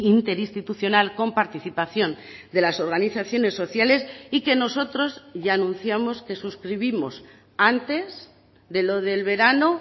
interinstitucional con participación de las organizaciones sociales y que nosotros ya anunciamos que suscribimos antes de lo del verano